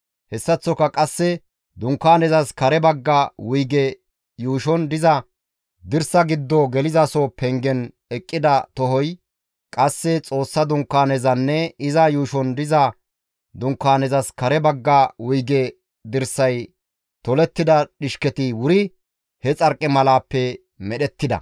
Hessaththoka qasse Dunkaanezas kare bagga wuyge yuushon diza dirsa giddo gelizaso pengen eqqida tohoy, qasse Xoossa Dunkaanezanne iza yuushon diza Dunkaanezas kare bagga wuyge dirsay tolettida dhishketi wuri he xarqimalaappe medhettida.